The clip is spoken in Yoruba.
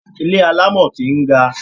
Ilé alámọ̀ kìí ga.